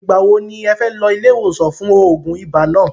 Ìgbà wo ni ẹ fẹ́ lọ ilé iwosan fún oògùn ibà náà?